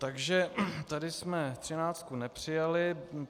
Takže tady jsme 13 nepřijali.